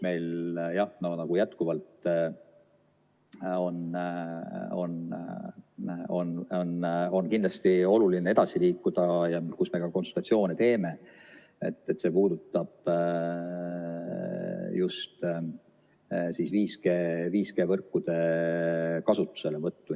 Millega meil jätkuvalt on kindlasti oluline edasi liikuda ja mille üle me ka konsultatsioone peame, see puudutab just 5G-võrkude kasutuselevõttu.